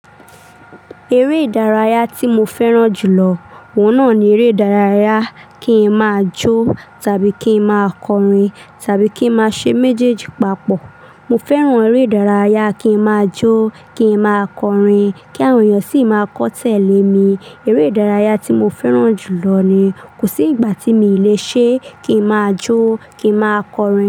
Eré ìdárayá tí mo fẹ́ràn jù lọ, òun náà ni eré ìdárayá kí n máa jó tàbí kí n máa kọrin tàbí kí n máa ṣe méjèèjì papọ̀. Mo fẹ́ràn eré ìdárayá kí n máa jó, kí n máa kọrin, kí àwọn èèyàn sì máa kọ́ tẹ̀lé mi. Eré ìdárayá tí mo fẹ́ràn jù lọ ni. Kò sí ìgbà tí mi ò le ṣe kí n máa jó, kí n máa kọrin.